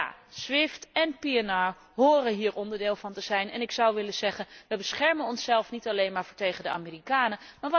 Ja, SWIFT en PNR horen hier onderdeel van te zijn. En ik zou willen zeggen we beschermen onszelf niet alleen maar tegen de Amerikanen.